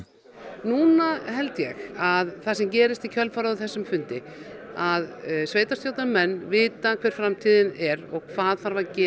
núna held ég að það sem gerist í kjölfarið af þessum fundi að sveitarstjórnarmenn vita hver framtíðin er og hvað þarf að gera